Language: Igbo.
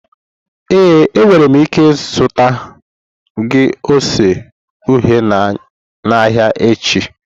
Ee, enwere m ike zụta gị ose uhie n'ahịa echi.